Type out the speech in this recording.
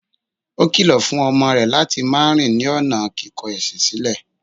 Ó kìlọ̀ fún ọmọ rẹ̀ láti máa rìn ní ọ̀nà kíkọ ẹ̀sìn sílẹ̀.